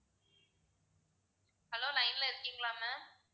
hello line ல இருக்கீங்களா ma'am